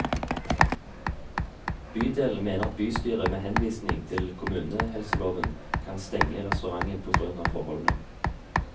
Bydelen mener at bystyret med henvisning til kommunehelseloven kan stenge restauranten på grunn av forholdene.